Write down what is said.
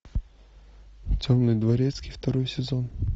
темный дворецкий второй сезон